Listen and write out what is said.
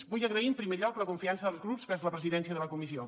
vull agrair en primer lloc la confiança dels grups vers la presidència de la comissió